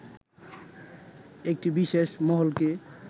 একটি বিশেষ মহলকে